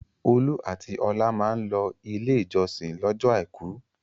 Olú àti Ọlá máa ń lọ Ilé-ìjọsìn lọ́jọ́ àìkú.